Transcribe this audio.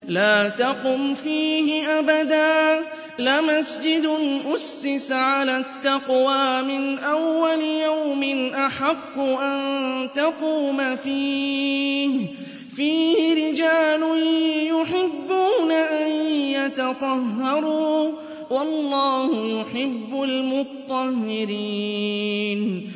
لَا تَقُمْ فِيهِ أَبَدًا ۚ لَّمَسْجِدٌ أُسِّسَ عَلَى التَّقْوَىٰ مِنْ أَوَّلِ يَوْمٍ أَحَقُّ أَن تَقُومَ فِيهِ ۚ فِيهِ رِجَالٌ يُحِبُّونَ أَن يَتَطَهَّرُوا ۚ وَاللَّهُ يُحِبُّ الْمُطَّهِّرِينَ